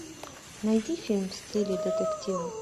найди фильм в стиле детектива